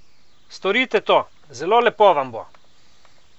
Storite to, zelo lepo vam bo!